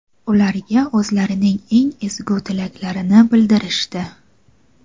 ularga o‘zlarining eng ezgu tilaklarini bildirishdi.